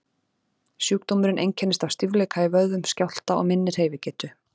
Sjúkdómurinn einkennist af stífleika í vöðvum, skjálfta og minni hreyfigetu.